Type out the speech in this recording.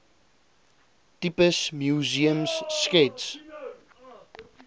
tipes museums skets